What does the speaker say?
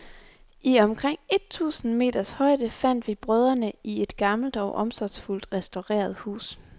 I omkring et tusinde meters højde fandt vi brødrene i et gammelt og omsorgsfuldt restaureret hus.